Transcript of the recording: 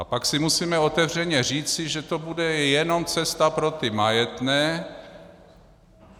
A pak si musíme otevřeně říci, že to bude cesta jenom pro ty majetné.